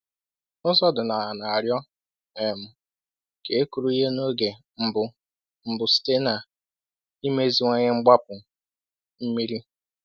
“Ụzọ ọdịnala na-arịọ um ka e kụrụ ihe n’oge mbụ mbụ site n’imeziwanye igbapu mmiri